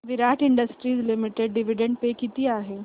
विराट industries limited dividend pay किती आहे